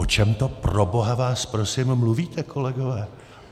O čem to, proboha vás prosím, mluvíte, kolegové?